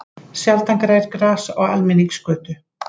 Sjaldan grær gras á almenningsgötu.